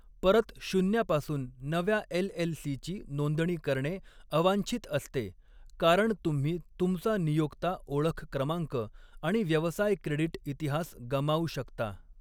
परत शून्यापासून नव्या एलएलसीची नोंदणी करणे अवांछित असते कारण तुम्ही तुमचा नियोक्ता ओळख क्रमांक आणि व्यवसाय क्रेडिट इतिहास गमावू शकता.